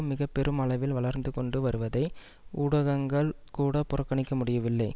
மிக பெரும் அளவில் வளர்ந்துகொண்டு வருவதை ஊடகங்கள் கூட புறக்கணிக்க முடியவில்லை